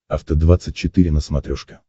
афта двадцать четыре на смотрешке